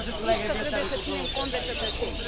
Ați spus că trebuie să ținem cont de cetățeni.